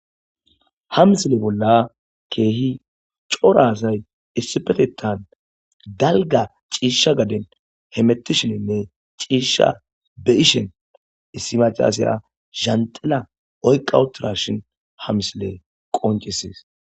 Ha misile bolla keehi coraazay issipetettan dalga ciisha gaden hemettishininne ciisha be ishen issi macalasaya zhandila oyqawutura shin ha misile qoncises.